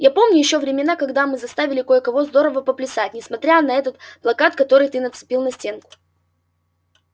я помню ещё времена когда мы заставили кое-кого здорово поплясать несмотря на этот плакат который ты нацепил на стенку